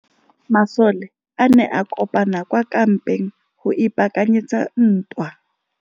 Masole a ne a kopane kwa kampeng go ipaakanyetsa ntwa.